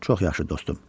Çox yaxşı, dostum.